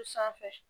Sanfɛ